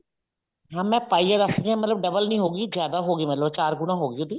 ਹਾਂ ਮੈਂ ਪਾਈਆ ਦੱਸ ਰਹੀ ਹਾਂ double ਨੀ ਹੋਗੀ ਮਤਲਬ ਚਾਰ ਗੁਣਾ ਹੋਗੀ ਉਹਦੀ